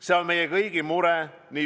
See on meie kõigi mure.